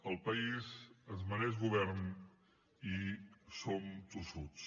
el país es mereix govern i som tossuts